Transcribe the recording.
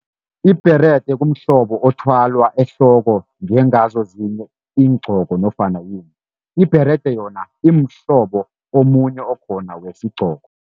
Ibherede kumhlobo othwalwa ehloko njengazo ezinye iingqoko nofana . Ibherede yona imhlobo omunye okhona wesigqoko.